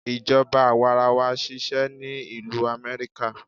Ìjọba àwarawa ń ṣisẹ́ ni ìlú Amẹ́ríkà.